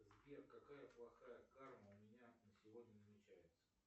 сбер какая плохая карма у меня на сегодня намечается